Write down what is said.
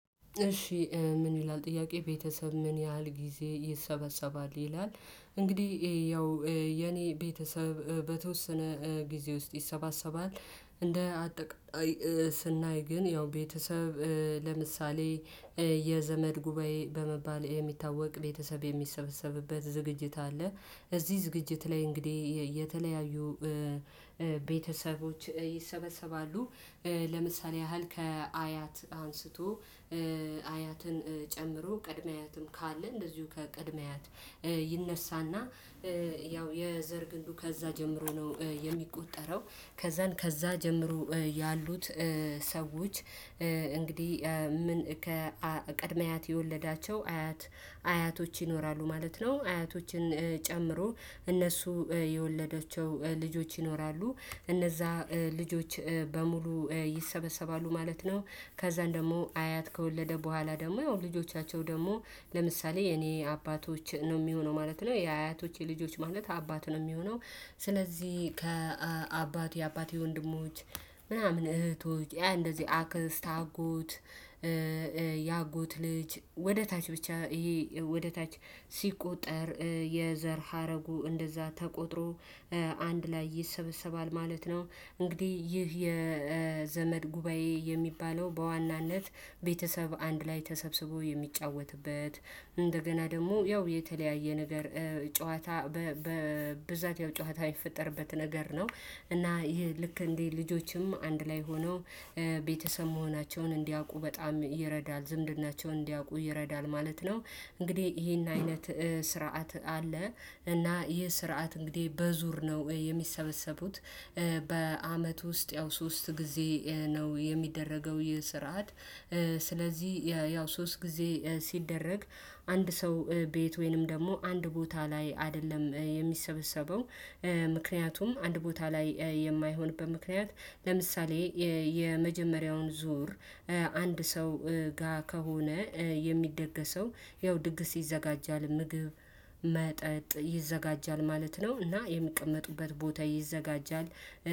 እሺ ምን ይላል ጥያቄ ቤተሰብ ምን ያህል ጊዜ ይሰበሰባል ይላል? እንግዲህ ያው የኔ ቤተሰብ በተወሰነ ጊዜ ውስጥ ይሰባሰባል እንደ አጠቃላይ ስናይ ግን ያው ቤተሰብ ለምሳሌ የዘመድ ጉባኤ በመባል የሚታወቅ ቤተሰብ የሚሰበሰብበት ዝግጅት አለ እዚህ ዝግጅት ላይ እንግዲህ የተለያዩ ቤተሰቦች ይሰበሰባሉ። ለምሳሌ ያህል ከአያት አንስቶ አያትን ጨምሮ ቅድመ አያትም ካለ እንደዚሁ ከቅድመ አያት ይነሳና ያው የዘር ግንዱ ከዛ ጀምሮ ነው የሚቆጠረው ከዛን ከዛ ጀምሮ ያሉት ሰዎች እንግዲህ ምን ከቀድመ አያት የወለዳቸው አያት አያቶች ይኖራሉ ማለት ነው አያቶችን ጨምሮ እነሱ የወለዷቸው ልጆች ይኖራሉ እነዛ ልጆች በሙሉ ይሰበሰባሉ ማለት ነው። ከዛም ደግሞ አያት ከወለደ በኋላ ደግሞ ያው ልጆቻቸው ደግሞ ለምሳሌ የኔ አባቶች ነው የሚሆነው ማለት ነው የአያቶች የልጆች ማለት አባት ነው የሚሆነው። ስለዚህ ከአባት የአባቴ የወንድሞች ምናምን እህቶች እንደዚህ አክስት አጎት ያጎት ልጅ ወደ ታች ብቻ ይሄ ወደ ታች ሲቆጠር የዘር ሀረጉ እንደዛ ተቆጥሮ አንድ ላይ ይሰበሰባል ማለት ነው። እንግዲህ ይህ የዘመድ ጉባኤ የሚባለው በዋናነት ቤተሰብ አንድ ላይ ተሰብስቦ የሚጫወትበት እንደገና ደግሞ ያው የተለያየ ነገር ጨዋታ በብዛት ያው ጩዎት የሚፈጠርበት ነገር ነው። እና ይሄ ልክ እንዴ ልጆችም አንድ ላይ ሆነው ቤተሰብ መሆናቸውን እንዲያውቁ በጣም ይረዳል ዝምድናቸውን እንዲያውቁ ይረዳል ማለት ነው። እንግዲህ ይሄን አይነት ስርዓት አለ እና ይሄ ስርዓት እንግዲህ በዙር ነው የሚሰበሰቡት። በአመት ውስጥ ያው ሶስት ጊዜ ነው የሚደረገው ይሄ ስርዓት። ስለዚህ ያው ሶስት ጊዜ ሲደረግ አንድ ሰው ቤት ወይንም ደግሞ አንድ ቦታ ላይ አይደለም የሚሰበሰበው። ምክንያቱም አንድ ቦታ ላይ የማይሆንበት ምክንያት ለምሳሌ የመጀመሪያውን ዙር አንድ ሰው ጋር ከሆነ የሚደገሰው ያው ድግስ ይዘጋጃል ምግብ መጠጥ ይዘጋጃል ማለት ነው። እና የሚቀመጡበት ቦታ ይዘጋጃል